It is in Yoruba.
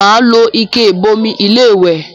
Màá lo ike ìbomi iléwẹ̀